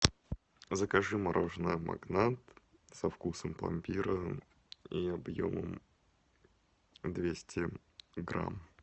закажи мороженое магнат со вкусом пломбира и объемом двести грамм